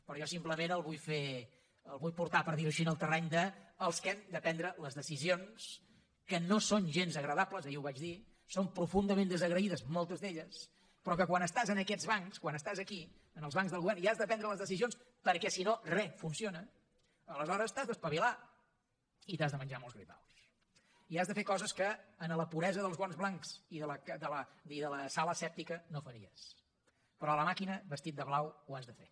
però jo simplement el vull portar per dir ho així al terreny dels que hem de prendre les decisions que no són gens agradables ahir ho vaig dir són profundament desagraïdes moltes d’elles però que quan estàs en aquests bancs quan estàs aquí en els bancs del govern i has de prendre les decisions perquè si no re funciona aleshores t’has d’espavilar i t’has de menjar molts gripaus i has de fer coses que en la puresa dels guants blancs i de la sala asèptica no faries però a la màquina vestit de blau ho has de fer